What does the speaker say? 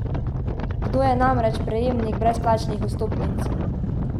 Kdo je namreč prejemnik brezplačnih vstopnic?